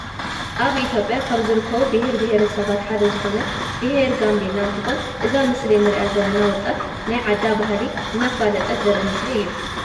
አብ ኢትዮጰያ ካብ ዝርከቡ ብሄር ብሄረሰባት ሓደ ዝኮነ ብሄረ ጋምቤላ እንተኮን እዛ አብ ምስሊ እንሪአ ዘለና ወጣት ናይ ዓዳ ባህሊ እናፋለጠት ዘሪኢ ምስሊ እዩ።